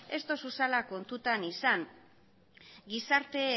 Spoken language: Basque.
ez dozuzala kontutan izan gizarte